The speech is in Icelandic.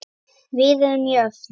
Við erum jöfn.